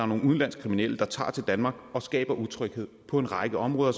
nogle udenlandske kriminelle der tager til danmark og skaber utryghed på en række områder